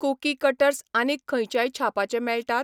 Kuki cutters आनीक खंयच्याय छापाचे मेळटात?